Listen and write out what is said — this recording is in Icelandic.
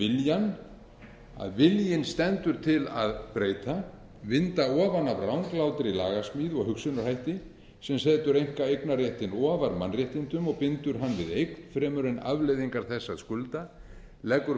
deilir um viljann að viljinn stendur til að breyta vinda ofan af ranglátri lagasmíð og hugsunarhætti sem setur einkaeignarréttinn ofar mannréttindum og bindur hann við eign fremur en afleiðingar þess að skulda leggur